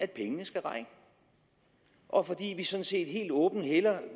pengene skal række og fordi vi sådan set helt åbent hellere